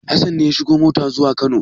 Hassan ne ya shiga mota zuwa Kano.